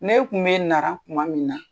Ne kun bɛ na tuma min na